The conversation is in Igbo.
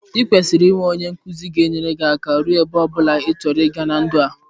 I kwesiri i nwe onye nkuzi ga enyere gi aka ruo ebe ọbụna ichọrọ iga na ndụ a.